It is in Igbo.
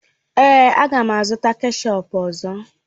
Èé, a ga m azụta kechọp ọzọ